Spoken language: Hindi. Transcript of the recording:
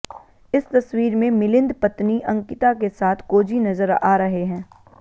इस तस्वीर में मिलिंद पत्नी अंकिता के साथ कोजी नजर आ रहे हैं